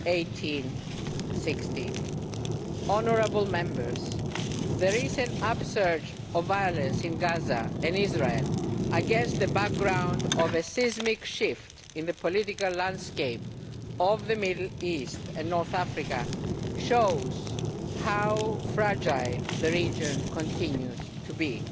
1860. Honourable Members, the recent upsurge of violence in Gaza and Israel, against the background of a seismic shift in the political landscape of the Middle East and North Africa, shows how fragile the region continues to